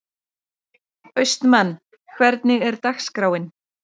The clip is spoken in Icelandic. Austmann, hvernig er dagskráin?